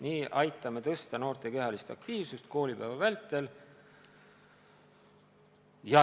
Nii aitame suurendada noorte kehalist aktiivsust.